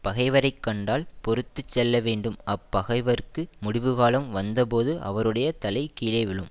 பகைவரை கண்டால் பொறுத்து செல்லவேண்டும் அப் பகைவர்க்கு முடிவுகாலம் வந்த போது அவருடைய தலை கீழே விழும்